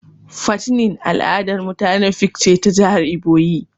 "Fattening" al'adar mutanen ifik ce ta jihar iboyi.